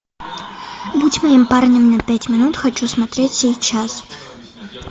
будь моим парнем на пять минут хочу смотреть сейчас